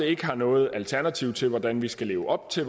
ikke har noget alternativ til hvordan vi skal leve op til